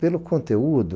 Pelo conteúdo.